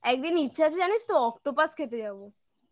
একদিন ইচ্ছা আছে জানিস তো octopus খেতে যাবো